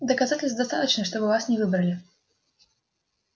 доказательств достаточно чтобы вас не выбрали